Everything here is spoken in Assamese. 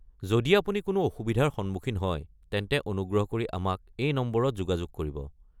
যদি আপুনি কোনো অসুবিধাৰ সন্মুখীন হয়, তেন্তে অনুগ্ৰহ কৰি আমাক এই নম্বৰত যোগাযোগ কৰিব।